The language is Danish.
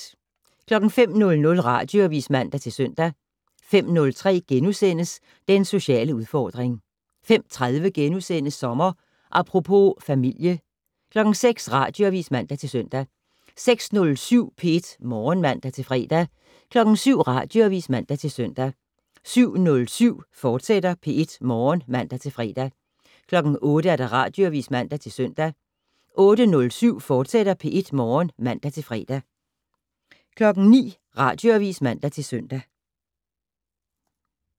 05:00: Radioavis (man-søn) 05:03: Den sociale udfordring * 05:30: Sommer Apropos - familie * 06:00: Radioavis (man-søn) 06:07: P1 Morgen (man-fre) 07:00: Radioavis (man-søn) 07:07: P1 Morgen, fortsat (man-fre) 08:00: Radioavis (man-søn) 08:07: P1 Morgen, fortsat (man-fre) 09:00: Radioavis (man-søn)